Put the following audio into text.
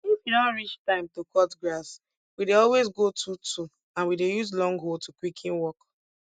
if e don reach time to cut grass we dey always go twotwo and we dey use long hoe to quicken work